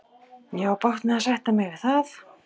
Ég á bágt með að sætta mig við það.